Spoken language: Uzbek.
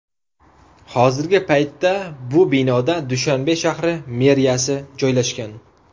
Hozirgi paytda bu binoda Dushanbe shahri meriyasi joylashgan.